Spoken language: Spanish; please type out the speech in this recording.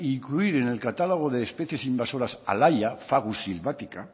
incluir en el catálogo de especies invasoras a la haya fagus sylvatica